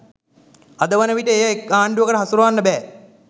අද වන විට එය එක් ආණ්ඩුවකට හසුරවන්න බෑ